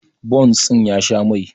bons ɗin ya Sha Mai